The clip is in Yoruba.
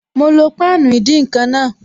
Mo lo páànù ìdín-nǹkan náà